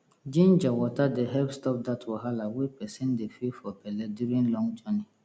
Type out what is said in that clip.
ginger water dey help stop dat wahala wey person dey feel for belle during long journey